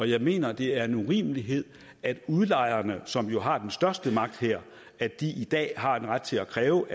jeg mener det er en urimelighed at udlejerne som jo har den største magt her i dag har en ret til at kræve